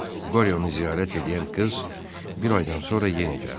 Qoryonu ziyarət eləyən qız bir aydan sonra yenə gəldi.